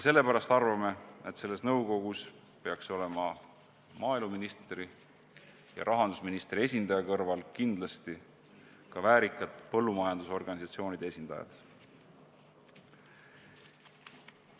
Sellepärast arvame, et selles nõukogus peaks olema maaeluministri ja rahandusministri esindaja kõrval kindlasti ka väärikate põllumajandusorganisatsioonide esindajad.